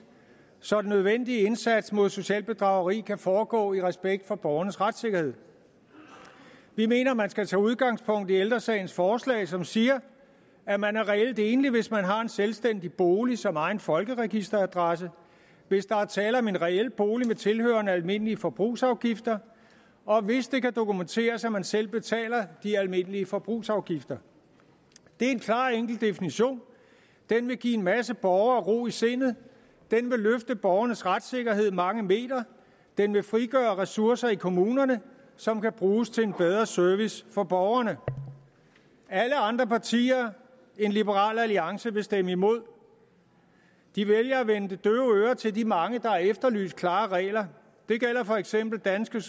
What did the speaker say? så den nødvendige indsats mod socialt bedrageri kan foregå i respekt for borgernes retssikkerhed vi mener at man skal tage udgangspunkt i ældre sagens forslag som siger at man er reelt enlig hvis man har en selvstændig bolig som egen folkeregisteradresse hvis der er tale om en reel bolig med tilhørende almindelige forbrugsafgifter og hvis det kan dokumenteres at man selv betaler de almindelige forbrugsafgifter det er en klar enkel definition den vil give en masse borgere ro i sindet den vil løfte borgernes retssikkerhed mange meter den vil frigøre ressourcer i kommunerne som kan bruges til en bedre service for borgerne alle andre partier end liberal alliance vil stemme imod de vælger at vende det døve øre til de mange der har efterlyst klare regler det gælder for eksempel dansk